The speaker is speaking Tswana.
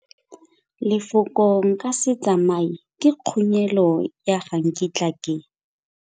Lefoko nka se tsamaye ke khunyelô ya ga nkitla ke.